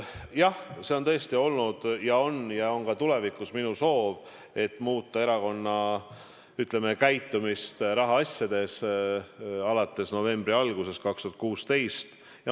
Jah, see on tõesti olnud, on praegu ja on ka tulevikus minu soov: muuta erakonna käitumist rahaasjades, seda alates novembri algusest 2016.